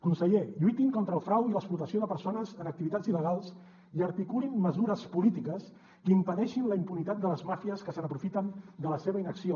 conseller lluitin contra el frau i l’explotació de persones en activitats il·legals i articulin mesures polítiques que impedeixin la impunitat de les màfies que se n’aprofiten de la seva inacció